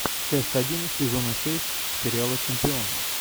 часть один сезона шесть сериала чемпион